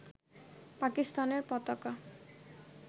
পাকিস্তানের পতাকা